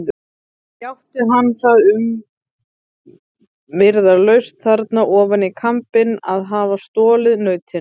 Játti hann það umyrðalaust þarna ofan í kambinn að hafa stolið nautinu.